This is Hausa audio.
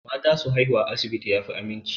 Mata su haihu a asibiti ya fi aminci.